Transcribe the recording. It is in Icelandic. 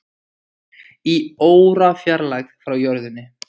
Í órafjarlægð frá jörðinni